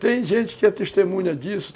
Tem gente que é testemunha disso.